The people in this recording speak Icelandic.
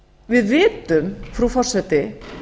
við vitum frú forseti